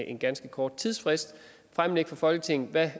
en ganske kort tidsfrist fremlægge for folketinget hvad